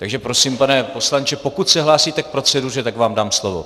Takže prosím, pane poslanče, pokud se hlásíte k proceduře, tak vám dám slovo.